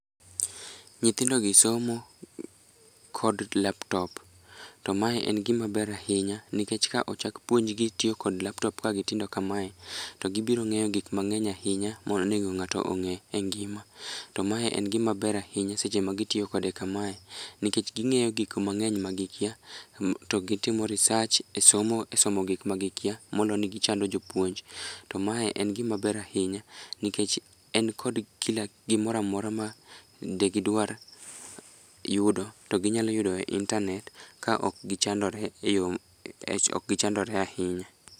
Nyithindogi somo kod laptop to mae en gimaber ahinya nikech ka ochak puonjgi tiyo kod laptop ka gitindo kamae, to gibiro ng'eyo giuk mang'eny ahinya monego ng'ato ng'e e i ngima, to mae en gimaber ahinya seche magitiyo kode kamae nikech ging'eyo gikmang'eny magikia to gitimo research e somo gikma gikia moloni gichando jopuonj, to mae en gimaber ahinya nikech en kod gimoro amora ma de gidwar yudo to ginyalo yudo e intanet ka okgichandore ahinya.